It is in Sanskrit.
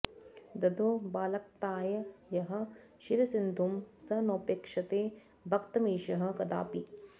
ददौ बालक्ताय यः क्षीरसिन्धुं स नोपेक्षते भक्तमीशः कदापि